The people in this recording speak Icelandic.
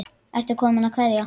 Ertu kominn að kveðja?